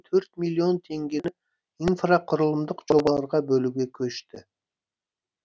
төрт миллион теңгені инфрақұрылымдық жобаларға бөлуге көшті